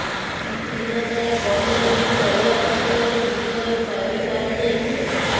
କିଛି ଦିନ ତଳେ ବନ୍ୟା ଯୋଗୁଁ ତଳିଆ ଅଞ୍ଚଳରେ ବିଲରେ ପାଣି ମାଡ଼ି ଯାଇଥିଲା